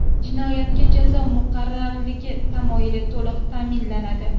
Jinoyatga jazo muqarrarligi tamoyili to‘liq ta’minlanadi.